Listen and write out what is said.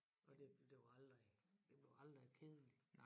Og det det jo aldrig det blev aldrig kedelig